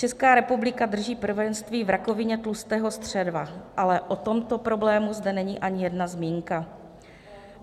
Česká republika drží prvenství v rakovině tlustého střeva, ale o tomto problému zde není ani jedna zmínka.